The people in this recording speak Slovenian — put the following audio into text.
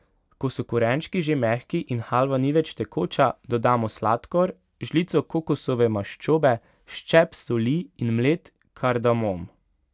Ko so korenčki že mehki in halva ni več tekoča, dodamo sladkor, žlico kokosove maščobe, ščep soli in mlet kardamom.